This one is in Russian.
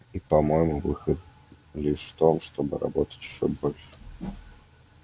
и по-моему выход лишь в том чтобы работать ещё больше